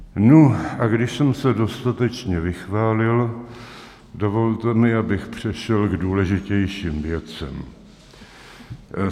Nu, a když jsem se dostatečně vychválil, dovolte mi, abych přešel k důležitějším věcem.